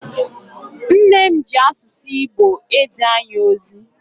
Nne m ji asụsụ Igbo ezi anyị ozi.